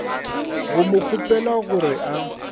go mo kgopela gore a